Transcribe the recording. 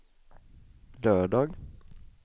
lördag